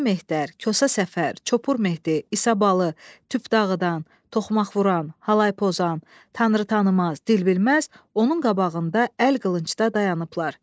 Dəli Mehər, Kosa Səfər, Çopur Mehdi, İsa Balı, Tüpdağıdan, Toxmaqvuran, Halaypozan, Tanrıtaniammaz, Dilbilməz onun qabağında əl qılıncda dayanıblar.